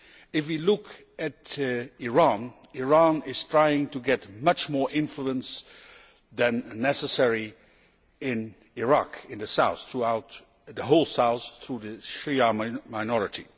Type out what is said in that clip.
If we look at Iran, Iran is trying to get much more influence than necessary in Iraq in the south throughout the whole south, via the Shia minority.